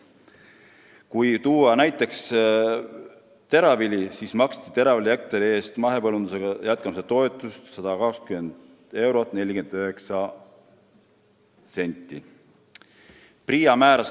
Kui tuua näiteks teravili, siis selle hektari eest maksti mahepõllumajandusega jätkamise toetust 120 eurot ja 49 senti.